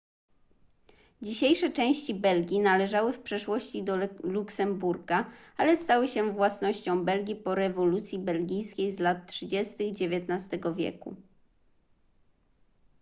dzisiejsze części belgii należały w przeszłości do luksemburga ale stały się własnością belgii po rewolucji belgijskiej z lat 30 xix wieku